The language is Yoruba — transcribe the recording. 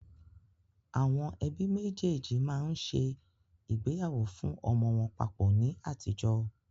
Àwọn ẹbí méjèèjì máa ń ṣe ìgbéyàwó fún ọmọ wọn papọ̀ ni àtijọ́